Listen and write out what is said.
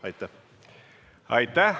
Aitäh!